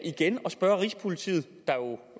igen at spørge rigspolitiet der jo